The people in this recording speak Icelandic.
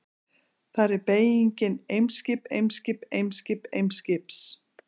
Þar er beygingin: Eimskip, Eimskip, Eimskip, Eimskips.